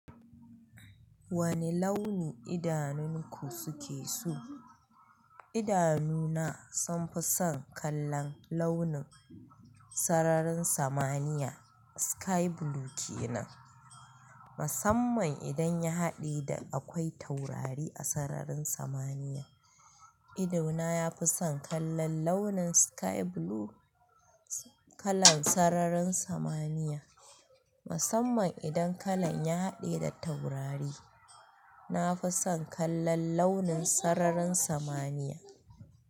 Wane launi idanunku suke so? Idanu na sun fi son kallon launin sararin samaniya sky blue ke nan. Musamman idan ya haɗe da akwai taurari a sararin samaniya. Idona ya fi son kallon launin sky blue kalan sararin samaniya. Musamman idan kalan ya haɗe da taurari. Na fi son kallon launin sararin samaniya.